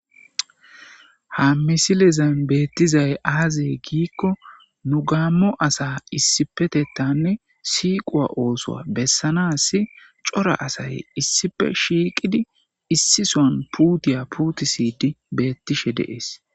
ha misilezan beettizay aazee giikko nu gaammo asa issifetettanne siiquwa oosoa bessanasi cora asay issife shiiqidi issison puutiya puutisiydi beettishe deees